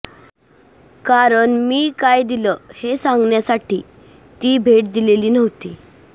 कारण मी काय दिलं हे सांगण्यासाठी ती भेट दिलेली नव्हती